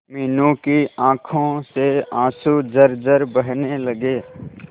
मीनू की आंखों से आंसू झरझर बहने लगे